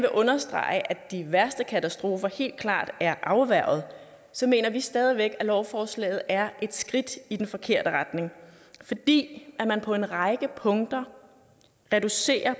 understrege at de værste katastrofer helt klart er afværget så mener vi stadig væk at lovforslaget er et skridt i den forkerte retning fordi man på en række punkter reducerer og